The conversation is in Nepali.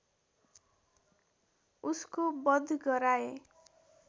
उसको बध गराए